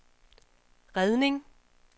redning